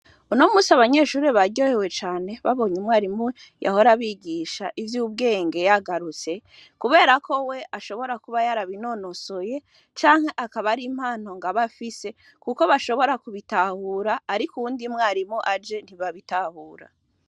Unomunsi abanyeshure baryohewe cane babonye umwarimu yahora abigisha ivy' ubwenge yagarutse, kubera ko we ashobora kuba yarabinonosoye canke ngo impano aba afise kuko bashobora kubitahura, ariko uwundi mwarimu aje ntibabitahura.